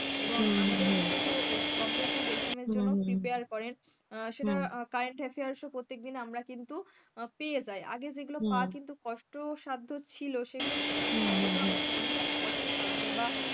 এবং আমাদেরকে কিন্তু competitive exam জন্য prepare করেন সেটা current affair প্রত্যেকদিন আমরা কিন্তু পেয়ে যায় আগে যেগুলো পাওয়া কিন্তু কষ্টসাধ্য ছিল সেগুলো কিন্তু এখন আর অতটা আমার মনে হয় না কষ্টসাধ্য বা,